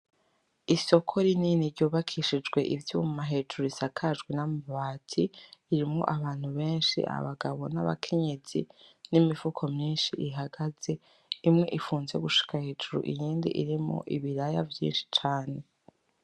Isoko rinini ry'ubakishijwe ivyuma hejuru risakajwe n'amabati ririmwo abantu beshi abagabo n'abakenyezi n'imifuko myishi ihagaze imwe ifunze gushika hejuru iyindi irimwo ibiraya vyishi cane .